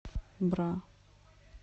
бра